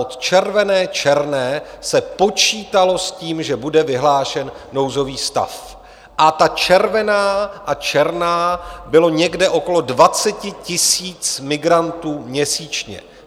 Od červené, černé se počítalo s tím, že bude vyhlášen nouzový stav, a ta červená a černá bylo někde okolo 20 000 migrantů měsíčně.